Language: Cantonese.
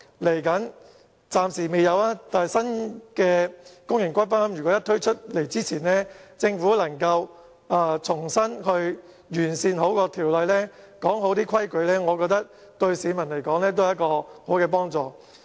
雖然暫時未有新的公營龕位供應，但如果政府能夠在新的龕位推出前完善有關法例，訂明相關的規矩，我覺得對市民也會有幫助。